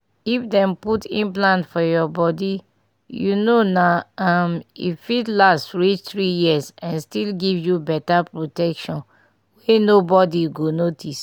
if dem put implant for your bodyyou know naum e fit last reach three years and still give you better protection wey nobody go notice.